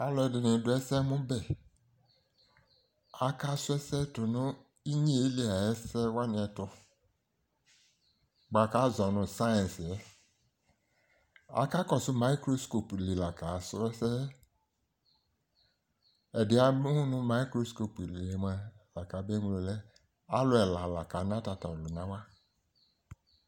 Alʋɛdɩnɩ dʋ ɛsɛmʋbɛ Akasʋ ɛsɛ tʋnʋ inyeeli ayɛsɛwanɩ ɛtʋ ;bʋa k'azɔ nʋ sayɩns yɛ Akakɔsʋ mayɩkroskɔp li la kasrɔɛsɛɛ ;ɛdɩɛ amʋ nʋ mayɩkroskɔp li mʋa la kabeŋlo lɛ: alʋ ɛla kana tatɔlʋnawanɩ